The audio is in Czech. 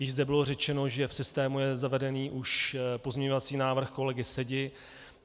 Již zde bylo řečeno, že v systému je zavedený už pozměňovací návrh kolegy Sedi.